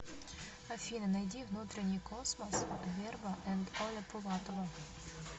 афина найди внутренний космос верба энд оля пулатова